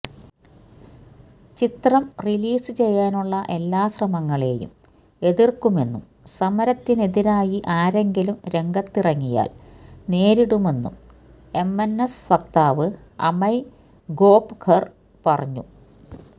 ചിത്രം റിലീസ് ചെയ്യാനുള്ള എല്ലാ ശ്രമങ്ങളെയും എതിര്ക്കുമെന്നും സമരത്തിനെതിരായി ആരെങ്കിലും രംഗത്തിറങ്ങിയാല് നേരിടുമെന്നും എംഎന്എസ് വക്താവ് അമയ് ഖോപ്കര് പറഞ്ഞു